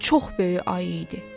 Bu çox böyük ayı idi.